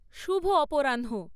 শুভ অপরাহ্ন